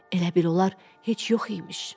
Elə bil onlar heç yox imiş.